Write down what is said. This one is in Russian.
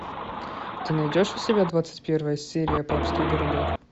ты найдешь у себя двадцать первая серия папский городок